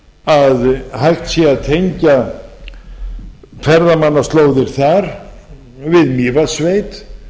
að hægt sé að tengja ferðamannaslóðir þar við mývatnssveit